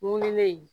Wulilen